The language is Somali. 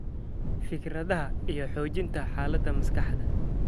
fikradaha iyo xoojinta xaaladda maskaxda.